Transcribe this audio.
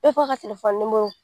ka telefɔni